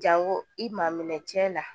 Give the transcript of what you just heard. Jango i maa minɛ cɛ la